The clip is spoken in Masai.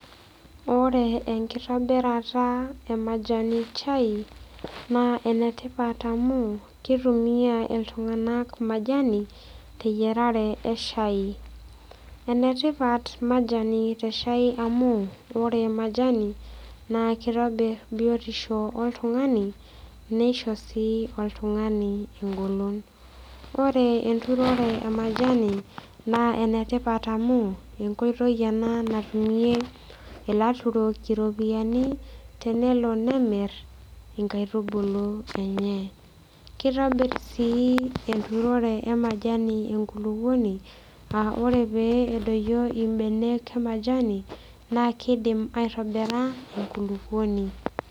Ore enkitobirata e majani chai naa enetipat amu kitumia iltung'anak majani teyiarare eshai enetipat majani teshai amu ore majani naa kitobirr biotisho oltung'ani nisho sii oltung'ani engolon ore enturore e majani naa enetipat amu enkoitoi ena natumie ilaturok iropiyiani tenelo nemirr inkaitubulu enye kitobirr sii enturore e majani enkulupuoni aaore pee edoyio imbenak e majani naa kidim aitobira enkulupuoni.